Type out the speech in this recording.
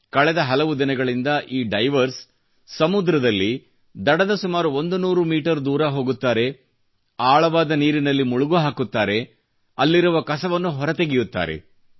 ಕಳೆದ ಹಲವು ದಿನಗಳಿಂದ ಈ ಡೈವರ್ಸ್ ಸಮುದ್ರದಲ್ಲಿ ದಡದ ಸುಮಾರು 100 ಮೀಟರ್ ದೂರ ಹೋಗುತ್ತಾರೆ ಆಳವಾದ ನೀರಿನಲ್ಲಿ ಮುಳುಗು ಹಾಕುತ್ತಾರೆ ಮತ್ತು ಅಲ್ಲಿರುವ ಕಸವನ್ನು ಹೊರತೆಗೆಯುತ್ತಾರೆ